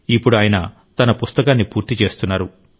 ఇప్పుడు ఆయన తన పుస్తకాన్ని పూర్తి చేస్తున్నారు